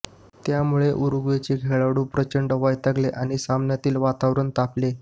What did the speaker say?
त्यामुळे उरूग्वेचे खेळाडू प्रचंड वैतागले आणि सामन्यातील वातावरण तापले